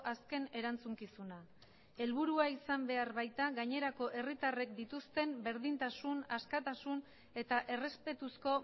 azken erantzukizuna helburua izan behar baita gainerako herritarrek dituzten berdintasun askatasun eta errespetuzko